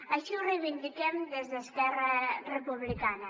així ho reivindiquem des d’esquerra republicana